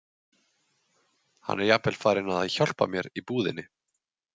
Hann er jafnvel farinn að hjálpa mér í búðinni.